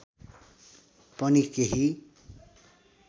पनि केही